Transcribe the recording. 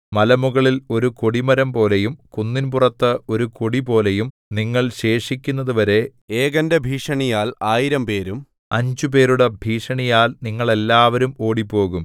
മലമുകളിൽ ഒരു കൊടിമരംപോലെയും കുന്നിൻപുറത്ത് ഒരു കൊടിപോലെയും നിങ്ങൾ ശേഷിക്കുന്നതുവരെ ഏകന്റെ ഭീഷണിയാൽ ആയിരം പേരും അഞ്ചുപേരുടെ ഭീഷണിയാൽ നിങ്ങളെല്ലാവരും ഓടിപ്പോകും